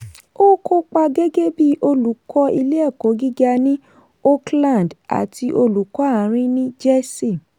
ó kópa gẹ́gẹ́ bí olùkọ́ ilé-ẹ̀kọ́ gíga ní oakland àti olùkọ́ àárín ní jersey.